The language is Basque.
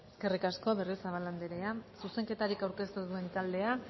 eskerrik asko berriozabal andrea zuzenketarik aurkeztu ez duen taldea